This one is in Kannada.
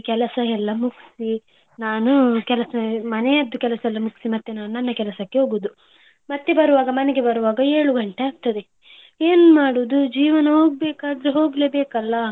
ಕೆಲಸ ಎಲ್ಲಾ ಮುಗ್ಸಿ ನಾನು ಮನೆಯದ್ದು ಕೆಲಸ ಎಲ್ಲಾ ಮುಗ್ಸಿ ನಾನು ನನ್ನ ಕೆಲಸಕ್ಕೆ ಹೋಗುದು. ಮತ್ತೆ ಮನೆಗೆ ಬರುವಾಗ ಏಳು ಗಂಟೆ ಆಗ್ತದೆ ಏನ್ ಮಾಡುದು ಜೀವನ ಹೋಗ್ಬೇಕಾದದ್ದು ಹೋಗಲೇ ಬೇಕಲ್ಲ.